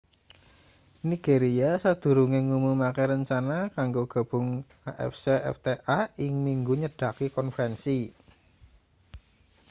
nigeria sadurunge ngumumake rencana kanggo gabung afcfta ing minggu nyedaki konferensi